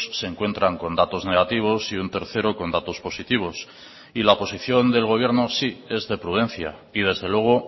se encuentran con datos negativos y un tercero con datos positivos y la posición del gobierno sí es de prudencia y desde luego